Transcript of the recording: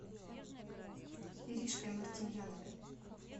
иришкой мартемьяновой